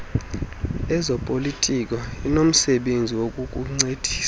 lezopolitiko linomsebenzi wokukuncedisa